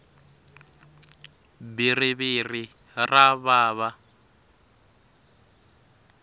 bhiriviri ra vava